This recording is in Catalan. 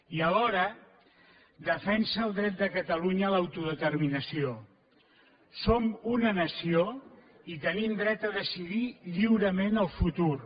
i alhora defensa el dret de catalunya a l’autodeterminació som una nació i tenim dret a decidir lliurement el futur